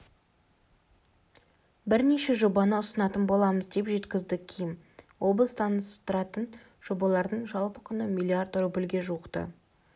бірнеше жобаны ұсынатын боламыз деп жеткізді ким облыс таныстыратын жобалардың жалпы құны млрд рубльге жуықты